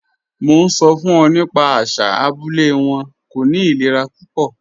Mo n sọ fun ọ nípa àṣà abúlẹ̀ wọn, kò ní ìlẹ̀rà púpọ̀.